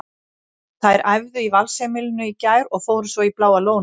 Þær æfðu í Valsheimilinu í gær og fóru svo í Bláa lónið.